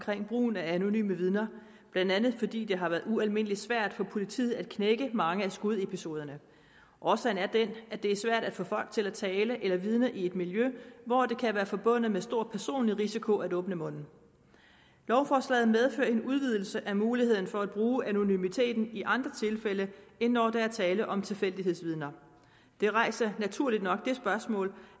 brugen af anonyme vidner blandt andet fordi det har været ualmindelig svært for politiet at knække mange af skudepisoderne årsagen er den at det er svært at få folk til at tale eller vidne i et miljø hvor det kan være forbundet med stor personlig risiko at åbne munden lovforslaget medfører en udvidelse af muligheden for at bruge anonymiteten i andre tilfælde end når der er tale om tilfældighedsvidner det rejser naturligt nok spørgsmål